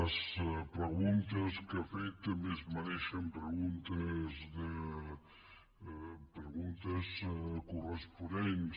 les preguntes que ha fet també es mereixen preguntes corresponents